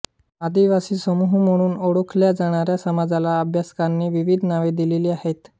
आदिवासी समूह म्हणून ओळखल्या जाणाऱ्या समाजाला अभ्यासकांनी विविध नावे दिलेली आहेत